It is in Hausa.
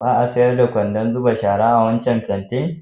Ba a sayar da kwandon zuba shara a wancan kantin?